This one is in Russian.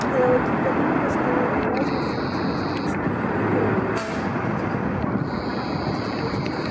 а я вот тут подумала что можно съездить на встречу к мини куперам не пить пиво и провести вечер с